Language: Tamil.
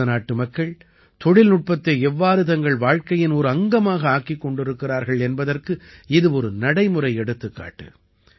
பாரத நாட்டு மக்கள் தொழில்நுட்பத்தை எவ்வாறு தங்கள் வாழ்க்கையின் ஒரு அங்கமாக ஆக்கிக் கொண்டிருக்கிறார்கள் என்பதற்கு இது ஒரு நடைமுறை எடுத்துக்காட்டு